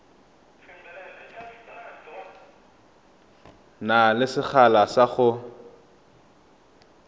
na le sekgala sa go